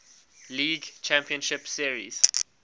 league championship series